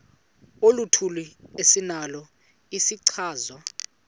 oluthile esinalo isichazwa